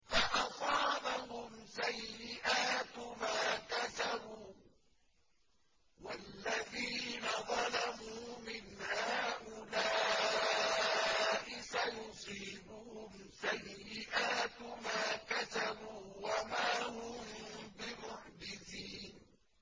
فَأَصَابَهُمْ سَيِّئَاتُ مَا كَسَبُوا ۚ وَالَّذِينَ ظَلَمُوا مِنْ هَٰؤُلَاءِ سَيُصِيبُهُمْ سَيِّئَاتُ مَا كَسَبُوا وَمَا هُم بِمُعْجِزِينَ